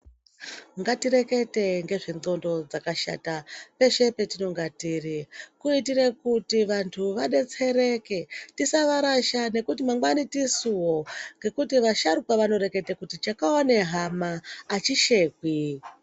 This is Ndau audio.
Ngatirekete ngezvendxondo dzakashata peshe petinnga tiri. Kuitire kuti vantu vadetsereke. Tisavarasha nekuti mangwani tisuwo. Ngekuti vasharuka vanoreketa kuti chakaona hama achishekwi.